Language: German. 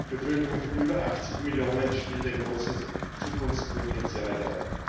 Seine Bevölkerung von über 80 Millionen stellt ein großes Zukunftspotenzial dar.